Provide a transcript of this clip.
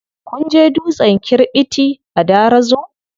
Kun je dutsen kirɓiti a Darazo?